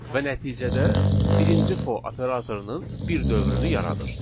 Və nəticədə birinci for operatorunun bir dövrünü yaradır.